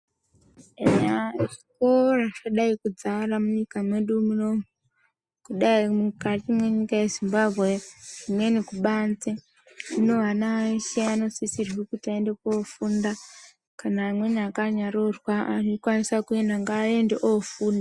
Eya zvikora zvadai kudzara munyika mwedu munomu kudai mukati mwenyika yezimbabwe zvimweni kubanze hino ana eshe anosisrwe kuti aende kofunda kana amweni akanyaroorwa anokwanisa kuenda ngaaende ofunda .